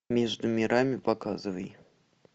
между мирами показывай